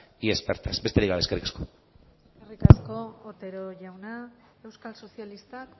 y expertas besterik gabe eskerrik asko eskerrik asko otero jauna euskal sozialistak